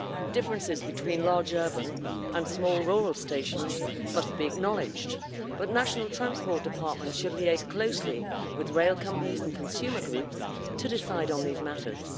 Differences between large urban and small rural stations must be acknowledged, but national transport departments should liaise closely with rail companies and consumer groups to decide on these matters.